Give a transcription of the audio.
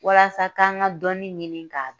Walasa k'an ka dɔnni ɲini k'a